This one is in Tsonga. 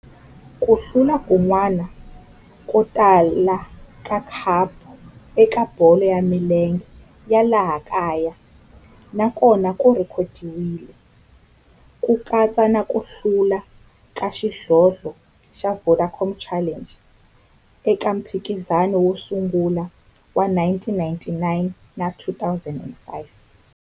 Ku hlula kun'wana ko tala ka khapu eka bolo ya milenge ya laha kaya na kona ku rhekhodiwile, ku katsa na ku hlula ka xidlodlo xa Vodacom Challenge eka mphikizano wo sungula wa 1999 na 2005.